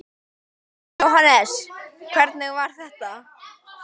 Jóhannes: Hvernig var þetta?